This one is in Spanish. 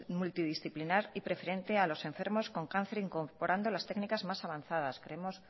multidisciplinar y preferente a los enfermos con cáncer incorporando las técnicas más avanzadas creemos